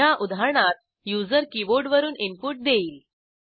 ह्या उदाहरणात युजर कीबोर्डवरून इनपुट देईल